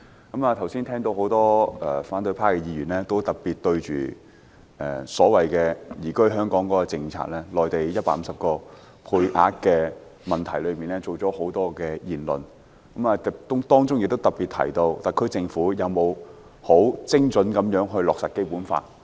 我剛才聆聽多位反對派議員對每天150名內地居民持單程證移居香港的政策進行辯論，其間有議員質疑政府有否精準落實《基本法》。